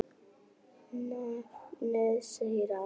Nafnið segir allt.